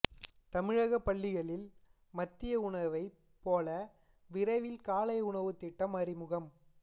தமிழக பள்ளிகளில் மதிய உணவைப் போல விரைவில் காலை உணவுத் திட்டம் அறிமுகம்